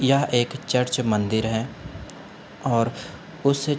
यह एक चर्च मंदिर है और उस --